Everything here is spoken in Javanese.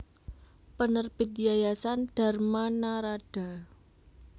Penerbit Yayasan Dharma Naradha